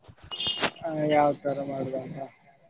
ಆ ಯಾವ್ ತರಾ ಮಾಡುದಂತ.